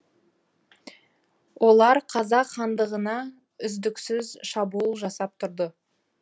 олар қазақ хандығына үздіксіз шабуыл жасап тұрды